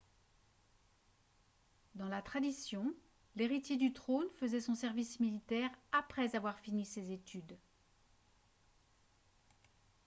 dans la tradition l'héritier du trône faisait son service militaire après avoir fini ses études